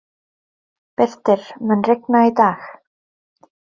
Birtir, mun rigna í dag?